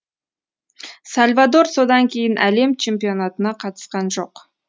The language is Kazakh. сальвадор содан кейін әлем чемпионатына қатысқан жоқ